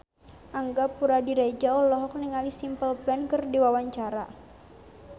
Angga Puradiredja olohok ningali Simple Plan keur diwawancara